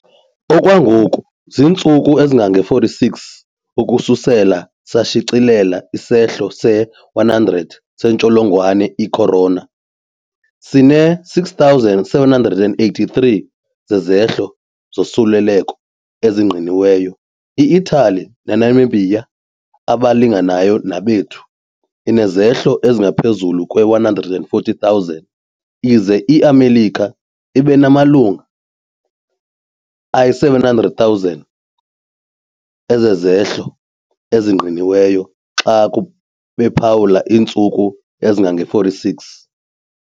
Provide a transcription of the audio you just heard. Okwangoku zintsuku ezingama-46 ukususela sashicilela isehlo se-100 sentsholongwane i-corona sinama-6,783 sezehlo zosuleleko ezingqiniweyo. I-Italy, nenabemi abalinganayo nabethu, inezehlo ezingaphezulu kwe-140, 000 ize iMelika ibe namalunga ayi-700,000 ezehlo ezingqiniweyo xa bephawula iintsuku ezingange-46.